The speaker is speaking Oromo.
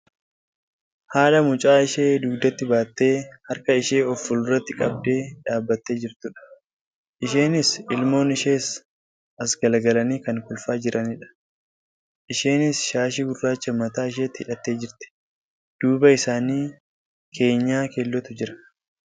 Haadha mucaa ishee dugdatti baattee harka ishee of fulduratti qabdee dhaabbattee jirtudha. Isheenis ilmoon ishees as galagalanii kan kolfaa jiranidha. Isheenis shaashii gurraacha mataa isheetti hidhattee jirti. Duuba isaanii keenyaa keellootu jira.